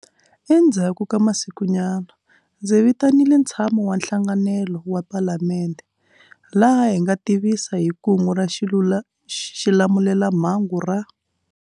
Endzhaku ka masikunyana, ndzi vitanile ntshamo wa nhlanganelo wa Palamende, laha hi nga tivisa hi Kungu ra Xilamulelamhangu ra.